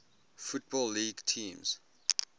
football league teams